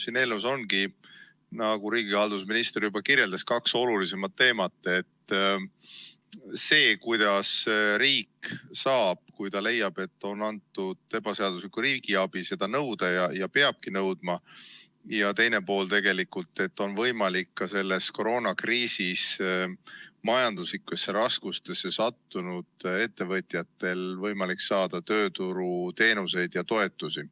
Siin eelnõus ongi, nagu riigihalduse minister juba kirjeldas, kaks olulisemat teemat: esiteks see, kuidas riik saab, kui ta leiab, et on antud ebaseaduslikku riigiabi, seda tagasi nõuda, ja teiseks see, et on võimalik ka selles koroonakriisis majanduslikesse raskustesse sattunud ettevõtjatel saada tööturuteenuseid ja -toetusi.